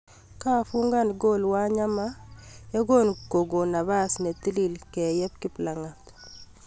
Kafungan goal Wanyama yekukonot pas netilil keyeb Kiplangat